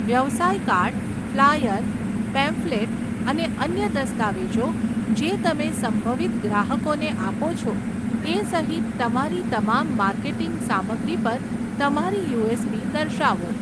વ્યવસાય card, flyer, pamphlet અને અન્ય દસ્તાવેજો જે તમે સંભવિત ગ્રાહકોને આપો છો તે સહિત તમારી તમામ માર્કેટિંગ સામગ્રી પર તમારી યુએસપી દર્શાવો.